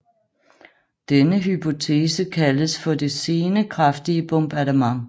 Denne hypotese kaldes for det sene kraftige bombardement